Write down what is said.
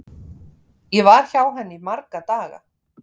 Ég var hjá henni í marga daga.